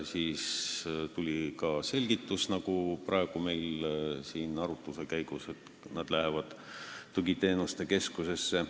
Sellele tuli ka praegu siin arutluse käigus selgitus, et nad lähevad tugiteenuste keskusesse.